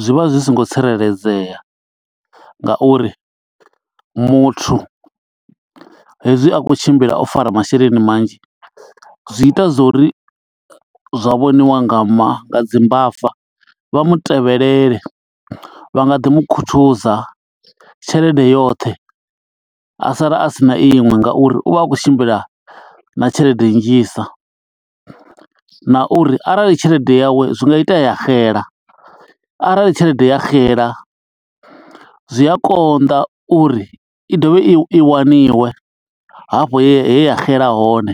Zwi vha zwi songo tsireledzea nga uri muthu hezwi a khou tshimbila o fara masheleni manzhi, zwi ita zwo uri zwa vhoniwa nga ma dzi mbava. Vha mu tevhelele, vha nga ḓi mukhuthuza tshelede yoṱhe, a sala a sina iṅwe nga uri u vha a khou tshimbila na tshelede nnzhi. Sa na uri arali tshelede yawe zwi nga itea ya xela, arali tshelede ya xela zwi a konḓa uri i dovhe i waniwe hafho he ya xela hone.